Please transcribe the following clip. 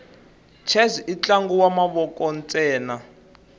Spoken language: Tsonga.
chess intlangu wamavoko nsena